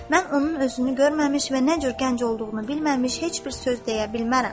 Mən onun özünü görməmiş və nə cür gənc olduğunu bilməmiş heç bir söz deyə bilmərəm.